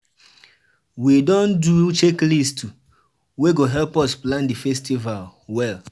We don do checklist wey go help us plan di festival well